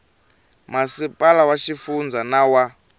masipala wa xifundza na wa